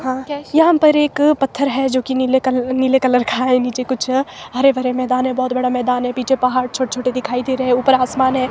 हां यहां पर एक पत्थर है जो कि नीले कलर नीले कलर का है नीचे कुछ हरे भरे मैदान है बहुत बड़ा मैदान है पीछे पहाड़ छोटे छोटे दिखाई दे रहे है ऊपर आसमान है।